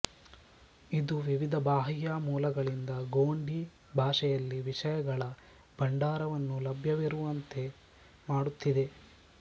ಇದು ವಿವಿಧ ಬಾಹ್ಯ ಮೂಲಗಳಿಂದ ಗೊಂಡಿ ಭಾಷೆಯಲ್ಲಿ ವಿಷಯಗಳ ಭಂಡಾರವನ್ನು ಲಭ್ಯವಿರುವಂತೆ ಮಾಡುತ್ತಿದೆ